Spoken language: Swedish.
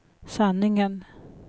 sanningen